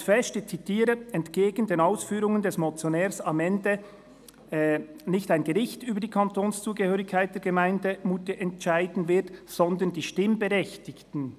Er hält fest, ich zitiere: «Entgegen den Ausführungen des Motionärs wird somit am Ende nicht ein Gericht über die Kantonszugehörigkeit der Gemeinde Moutier entscheiden, sondern die Stimmbevölkerung.